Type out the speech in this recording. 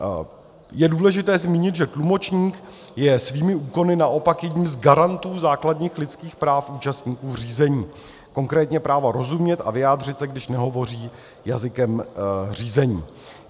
Je důležité zmínit, že tlumočník je svými úkony naopak jedním z garantů základních lidských práv účastníků řízení - konkrétně práva rozumět a vyjádřit se, když nehovoří jazykem řízení.